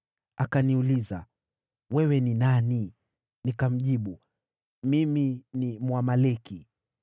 “Akaniuliza, ‘Wewe ni nani?’ “Nikamjibu, ‘Mimi ni Mwamaleki.’